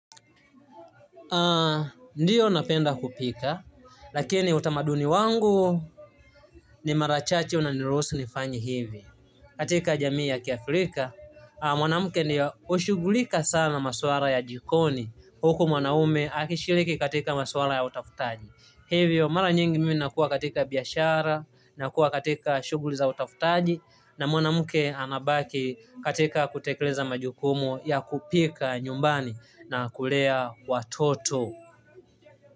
Ndiyo napenda kupika, lakini utamaduni wangu ni mara chache unaniruhusu nifanye hivi. Katika jamii ya kiafrika, mwanamke ndio hushughulika sana na maswala ya jikoni huku mwanaume akishiriki katika maswala ya utafutaji. Hivyo mara nyingi mimi nakuwa katika biashara, nakuwa katika shughuli za utafutaji, na mwanamke anabaki katika kutekeleza majukumu ya kupika nyumbani na kulea watoto.